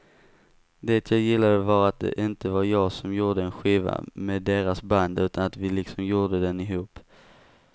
Det jag gillade var att det inte var jag som gjorde en skiva med deras band utan att vi liksom gjorde den ihop.